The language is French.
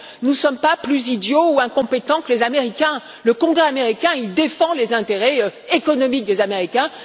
Nous ne sommes pas plus idiots ou incompétents que les Américains. Le Congrès américain défend les intérêts économiques des Américains.